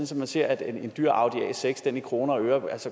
så man ser at en dyr audi a6 i kroner og øre